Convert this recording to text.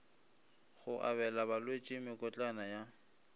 go abela balwetši mekotlana ya